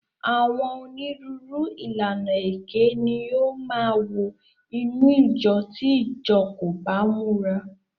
Àwọn onírúurú ìlànà èké ni ó máa wọ inú ìjọ tí ìjọ kò bá múra.